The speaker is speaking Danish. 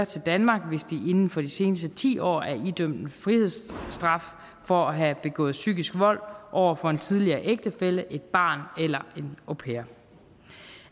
til danmark hvis de inden for de seneste ti år er idømt en frihedsstraf for at have begået psykisk vold over for en tidligere ægtefælle et barn eller en au pair